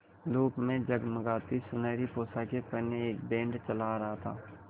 धूप में जगमगाती सुनहरी पोशाकें पहने एक बैंड चला आ रहा था